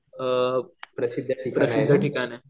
अ प्रसिद्ध ठिकाण आहे.